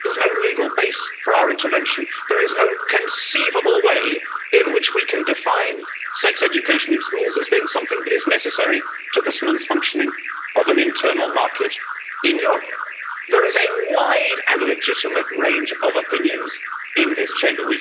Mr President, Brussels has no locus here, there's no legal base for our intervention, there is no conceivable way in which we can define sex education in schools as being something that is necessary to the smooth functioning of an internal market in Europe. There is a wide and legitimate range of opinions in this Chamber.